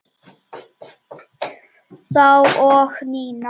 Þá og núna.